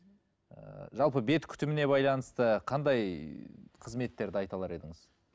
ыыы жалпы бет күтіміне байланысты қандай қызметтерді айта алар едіңіз